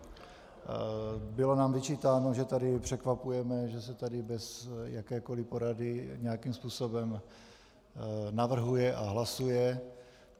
Bylo nám vyčítáno, že tady překvapujeme, že se tady bez jakékoli porady nějakým způsobem navrhuje a hlasuje.